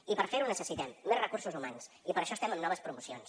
i per fer ho necessitem més recursos humans i per això estem amb noves promocions